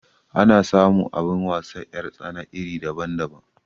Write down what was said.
Ana samu abin wasar 'yar tsana iri daban daban